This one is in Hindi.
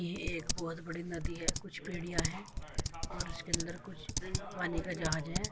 ये एक बोहोत बड़ी नदी है। कुछ पेड़ियां हैं और उसके अंदर कुछ पानी का जहाज है।